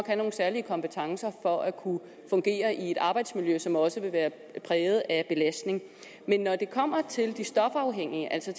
have nogle særlige kompetencer for at kunne fungere i et arbejdsmiljø som også vil være præget af belastning men når det kommer til de stofafhængige altså